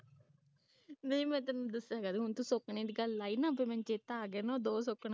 ਨਹੀਂ ਮੈਂ ਤੈਨੂੰ ਦੱਸਾਂਗੇ ਹੁਣ ਤੂੰ ਸੈਂਕਨੇ ਦੀ ਗੱਲ ਲਾਈਨਾ ਫੇਰ ਮੈਨੂੰ ਚੇਤਾ ਆ ਗਿਆ ਨਾ ਦੋ ਸੌਂਕਣਾ ਦੀ ਗੱਲ